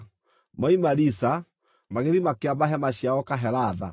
Moima Risa, magĩthiĩ makĩamba hema ciao Kahelatha.